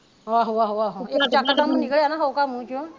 ਆਹੋ ਆਹੋ ਆਹੋ ਯਕਦਮ ਹੀ ਨਿਕਲਿਆ ਨਾ ਹਉਕਾ ਮੂੰਹ ਵਿਚੋਂ